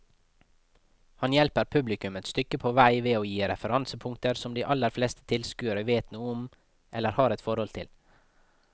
Han hjelper publikum et stykke på vei ved å gi referansepunkter som de aller fleste tilskuere vet noe om eller har et forhold til.